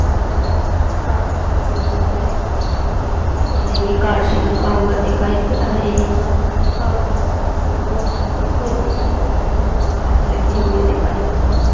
यहाँ कार के गैरेज में आदमी खड़े हुए दिखाई दे रही है कहाँ है सर को दिखाई दे रहा है यहाँ बहुत सारे लोग पहले ही दिखाई दे रहे हैं कांच लगे हुए दिखाई दे।